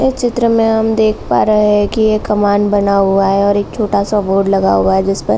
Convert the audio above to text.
इस चित्र मे हम देख पा रहे हैं की एक कमान बना हुआ है और एक छोटा सा बोर्ड लगा हुआ है जिसपर --